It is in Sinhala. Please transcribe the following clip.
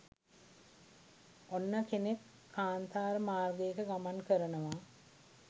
ඔන්න කෙනෙක් කාන්තාර මාර්ගයක ගමන් කරනවා